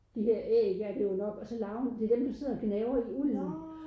De der æg er det jo nok og så larven det er dem der sidder og gnaver i ulden